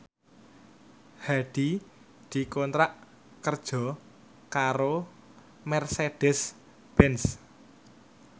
Hadi dikontrak kerja karo Mercedez Benz